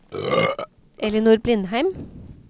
Ellinor Blindheim